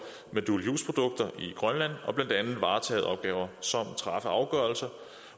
med dual use produkter i grønland og blandt andet varetage opgaver som at træffe afgørelse